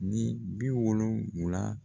Ni bi wolonwula